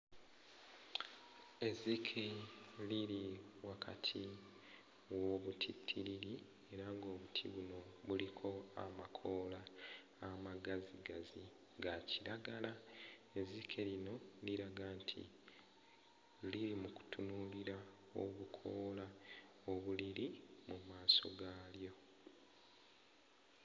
Ezzike liri wakati w'obutittiriri era ng'obuti buno buliko amakoola amagazigazi ga kiragala, ezzike lino liraga nti liri mu kutunuulira obukoola obuliriri mu maaso gaalyo.